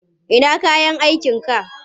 Ina kayan aikinka?